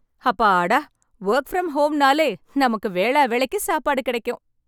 ஹப்பாடா work from home நாளே நமக்கு வேலா வேலைக்கு சாப்பாடு கிடைக்கும்